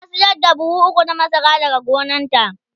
ta sayar da buhu ukwu na masara daga gonanta